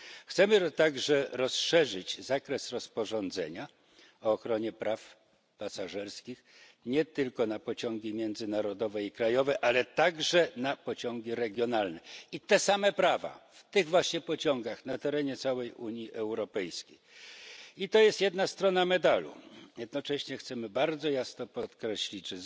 Chcemy także rozszerzyć zakres rozporządzenia o ochronie praw pasażerskich nie tylko na pociągi międzynarodowe i krajowe, ale także na pociągi regionalne, aby te same prawa obowiązywały w tych właśnie pociągach na terenie całej Unii Europejskiej. Jest to jedna strona medalu. Jednocześnie chcemy bardzo wyraźnie podkreślić,